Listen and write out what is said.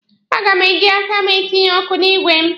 A ga m eji aka m etinye ọkụ n'igwe m.